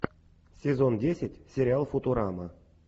сезон десять сериал футурама